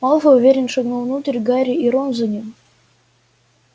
малфой уверенно шагнул внутрь гарри и рон за ним